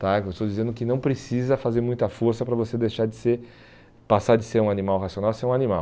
Eu estou dizendo que não precisa fazer muita força para você deixar de ser, passar de ser um animal racional a ser um animal.